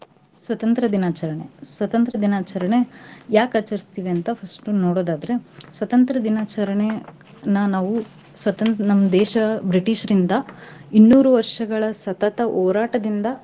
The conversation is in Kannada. ಸ್ವತಂತ್ರ್ಯ ದಿನಾಚರಣೆ, ಸ್ವತಂತ್ರ್ಯ ದಿನಾಚರಣೆ ಯಾಕ್ ಆಚರಿಸ್ತಿವಿ ಅಂತಾ first ನೋಡೋದಾದ್ರೆ ಸ್ವತಂತ್ರ್ಯ ದಿನಾಚರಣೆನ ನಾವೂ ಸ್ವತಂ~ ನಮ್ ದೇಶ British ರಿಂದ ಇನ್ನೂರು ವರ್ಷಗಳ ಸತತ ಹೋರಾಟದಿಂದಾ.